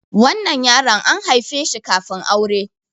wannan yaron an haife shi kafin aure